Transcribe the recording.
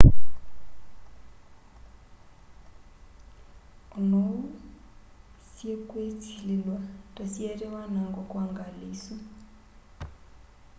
ona oou syiikwisililw'a ta syaete wanango kwa ngali isu